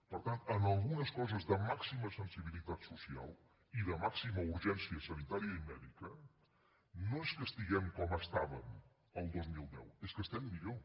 per tant en algunes coses de màxima sensibilitat social i de màxima urgència sanitària i mèdica no és que estiguem com estàvem el dos mil deu és que estem millor